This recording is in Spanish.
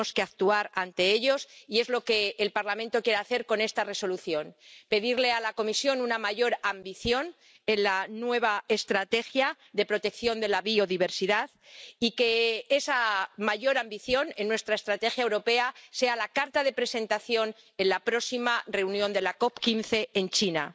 Tenemos que afrontarlos, y es lo que el Parlamento quiere hacer con esta Resolución, pedirle a la Comisión una mayor ambición en la nueva estrategia de protección de la biodiversidad y que esa mayor ambición en nuestra estrategia europea sea la carta de presentación en la próxima reunión de la COP 15 en China.